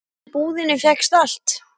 Því í búðinni fékkst allt.